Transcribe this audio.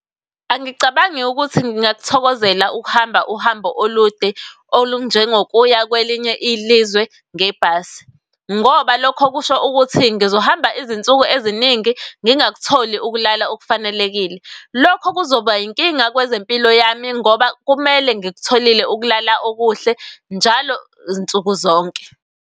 Angicabangi ukuthi ngingakuthokozela ukuhamba uhambo olude olunjengokuya kwelinye ilizwe ngebhasi, ngoba lokho kusho ukuthi ngizohamba izinsuku eziningi ngingakutholi ukulala okufanelekile. Lokho kuzoba inkinga kwezempilo yami ngoba kumele ngikutholile ukulala okuhle njalo nsuku zonke.